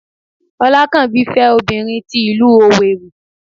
olakanbi fé obinrín tí ilu Owerri